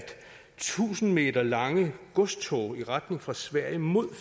tusind meter lange godstog i retning fra sverige mod